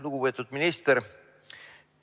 Lugupeetud minister!